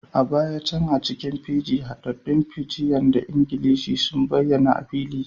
A baya can, a cikin Fiji, haɗaɗɗun Fijian da Ingilishi sun bayyana a fili